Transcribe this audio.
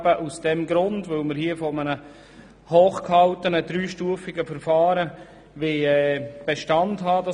Das hochgehaltene, dreistufige Verfahren soll Bestand haben: